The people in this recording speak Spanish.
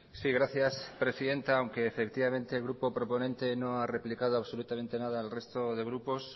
sí gracias presidenta aunque efectivamente el grupo proponente no ha replicado absolutamente nada al resto de grupos